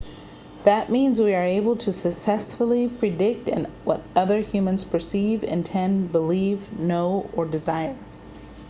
that means we are able to successfully predict what other humans perceive intend believe know or desire